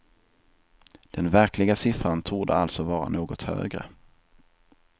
Den verkliga siffran torde alltså vara något högre.